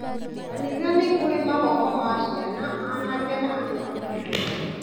Kanithainĩ nĩkũrĩ mathomo ma ciana, anake na andũ agima